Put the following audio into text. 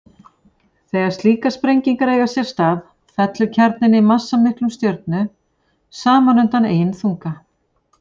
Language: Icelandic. Þegar slíkar sprengingar eiga sér stað fellur kjarninn í massamikilli stjörnu saman undan eigin þunga.